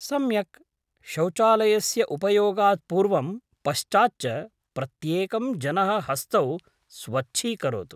सम्यक्! शौचालयस्य उपयोगात् पूर्वं पश्चात् च प्रत्येकं जनः हस्तौ स्वच्छीकरोतु।